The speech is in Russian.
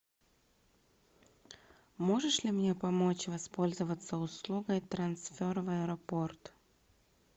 можешь ли мне помочь воспользоваться услугой трансфер в аэропорт